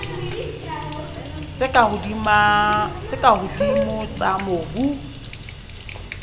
tse ka hodimo tsa mobu